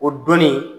O donni